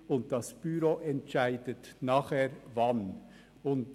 In der Folge entscheidet das Büro über den Zeitpunkt.